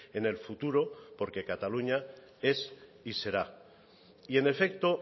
en el futuro porque cataluña es y será y en efecto